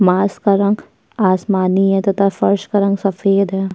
का रंग आसमानी है तथा फर्श का रंग सफेद है।